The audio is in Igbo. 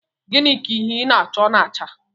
Gịnị ka ihe ị na-achọ na-acha?